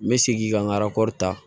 N bɛ segin ka n ka arakɔri ta